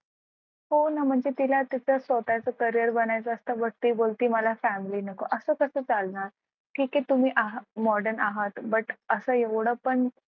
हो ना म्हणजे तिला तिचं स्वतःचं career करियर नवायचं असतं but बोलती मला family नको असं कसं चालणार ठीक आहे तुम्ही आहात modern आहात but असं एवढं पण